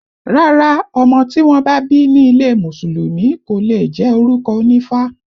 Rárá, ọmọ tí wọ́n bá bí ní ilé Mùsùlùmí kò leè jẹ́ orúkọ onífá